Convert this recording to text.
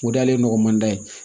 O de y'ale nɔgɔmanda ye